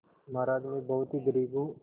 महाराज में बहुत ही गरीब हूँ